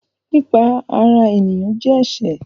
Pípa ará èèyàn jẹ́ ẹsẹ̀